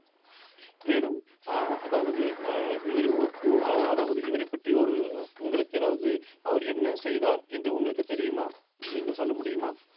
மேலும் அஹ் அதாவது அஹ் இவரு ~ அஹ் அதாவது இவரைப் பற்றி ஒரு உங்களுக்கு ஏதாவது அவர் என்ன செய்தார் என்று உங்களுக்கு தெரியுமா நீங்கள் சொல்ல முடியுமா